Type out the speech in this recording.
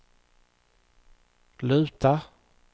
luta